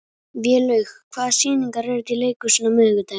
Vélaug, hvaða sýningar eru í leikhúsinu á miðvikudaginn?